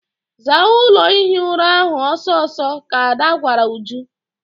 Zaa ụlọ ihi ura ahụ ọsọ ọsọ! ka Ada gwara Uju.